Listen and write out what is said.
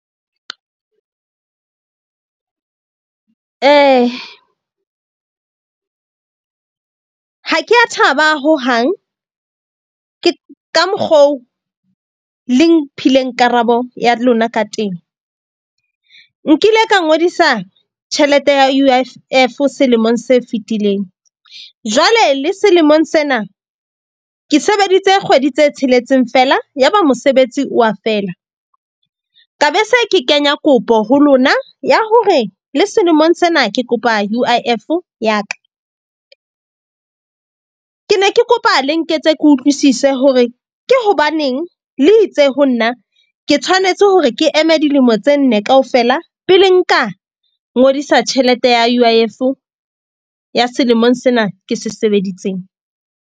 Ha ke a thaba hohang ka mokgo le mphileng karabo ya lona ka teng. Nkile ka ngodisa tjhelete ya U_I_F selemong se fetileng. Jwale le selemong sena ke sebeditse kgwedi tse tsheletseng fela. Ya ba mosebetsi wa fela, ka be se ke kenya kopo ho lona ya hore le selemong sena ke kopa U_I_F-o ya ka. Ke ne ke kopa le nketse ke utlwisise hore ke hobaneng le itse ho nna ke tshwanetse hore ke eme dilemo tse nne kaofela pele, nka ngodisa tjhelete ya U_I_F-o ya selemong sena ke se sebeditseng?